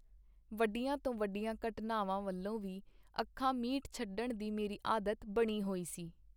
ਵੱਡੀਆਂ ਤੋਂ ਵੱਡੀਆਂ ਘਟਨਾਵਾਂ ਵਲਵੋਂ ਵੀ ਅੱਖਾਂ ਮੀਟ ਛਡਣ ਦੀ ਮੇਰੀ ਆਦਤ ਬਣੀ ਹੋਈ ਸੀ.